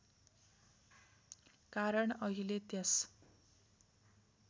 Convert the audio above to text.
कारण अहिले त्यस